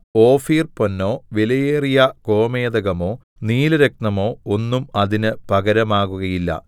ഓഫീർപൊന്നോ വിലയേറിയ ഗോമേദകമോ നീലരത്നമോ ഒന്നും അതിന് പകരമാകുകയില്ല